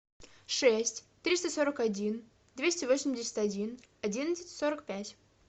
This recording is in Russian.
шесть триста сорок один двести восемьдесят один одиннадцать сорок пять